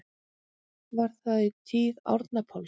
Var það í tíð Árna Páls